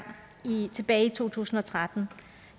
tilbage i to tusind og tretten